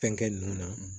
Fɛnkɛ ninnu na